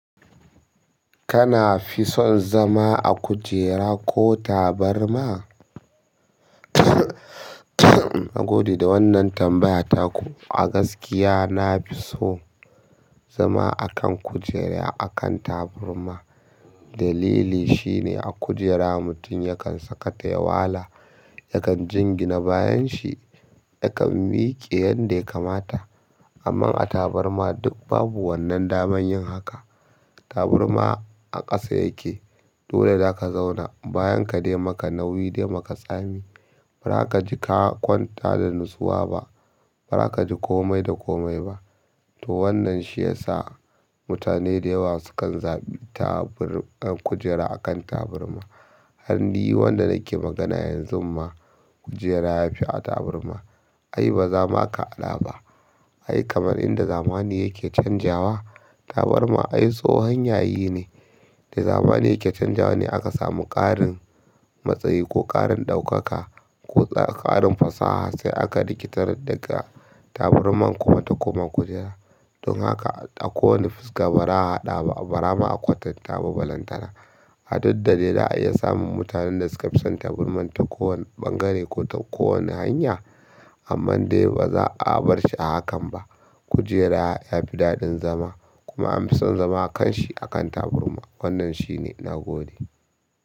Kana fi son zama a kujera ko tabarma? Na gode da wannan tambaya taku. A gaskiya, na fi so zama a kan kujera, a kan taburma. Dalili shine a kujera mutum yakan sakata ya wala, yakan jingina bayan shi, yakan miƙe yanda ya kamata. Amma a taburma duk babu wannan daman yin haka. Taburma a ƙasa yake. Dole za ka zauna, bayan ka dai maka nauyi dai maka tsami. Ba za ka ji ka kwanta da natsuwa ba. Ba za ka ji komai da komai ba. To wannan shi ya sa mutane da yawa sukan zaɓi tabur-- kujera a kan taburma. Har ni wanda nake magana yanzu ma, kujera ya fi a taburma. Ai ba zama ka haɗa ba. Ai kamar inda zamani yake canjawa, tabarma ai tsohon yayi ne da zamani yake canjawa ne aka samu ƙarin matsayi ko ƙarin ɗaukaka ko ƙarin fasaha sai aka rikitar daga taburman kuma ta koma kujera. Don haka a kowane fuska ba za a haɗa ba, ba za ma a kwatanta ba balantana. A duk da dai za'a iya samun mutanen da suka fi son taburman ta kowane ɓangare ko ta kowane hanya. Amma dai ba za a bar shi a hakan ba. Kujera ya fi daɗin zama. Kuma an fi son zama a kan shi a kan taburma. Wannan shi ne. Na gode.